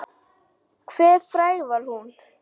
Hve fræg var hún?